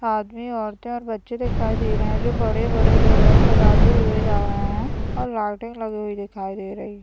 आदमी औरते और बच्चे दिखाई दे रहे है जो बड़े-बड़े ढोलक बजाते हुए जा रहे हैं और लालटेन लगी हुई दिखाई दे रही है।